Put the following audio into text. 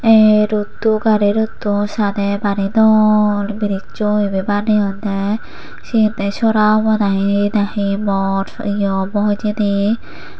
ee roto gari roto sadee bari dol biricho ebe baneyonde seyan te sora obo nahi nahi bor yee obo hijeni.